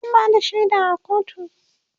zan Bada shaida a kotu